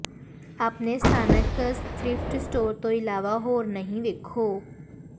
ਆਪਣੇ ਸਥਾਨਕ thrift store ਤੋਂ ਇਲਾਵਾ ਹੋਰ ਨਹੀਂ ਵੇਖੋ